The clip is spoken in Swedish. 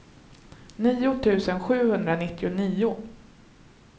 nio tusen sjuhundranittionio